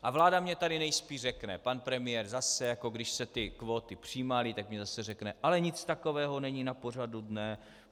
A vláda mi tady nejspíš řekne, pan premiér zase, jako když se ty kvóty přijímaly, tak mi zase řekne: Ale nic takového není na pořadu dne.